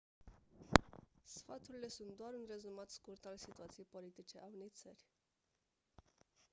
sfaturile sunt doar un rezumat scurt al situației politice a unei țări